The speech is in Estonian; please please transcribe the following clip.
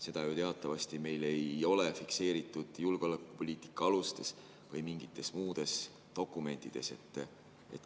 Seda ju teatavasti meil ei ole fikseeritud julgeolekupoliitika alustes või mingites muudes dokumentides.